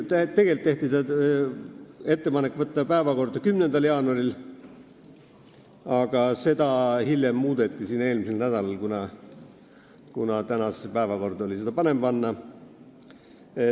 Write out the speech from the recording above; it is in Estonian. Tegelikult tehti ettepanek võtta eelnõu päevakorda 10. jaanuariks, aga hiljem, eelmisel nädalal seda otsust muudeti, kuna tänasesse päevakorda oli seda parem panna.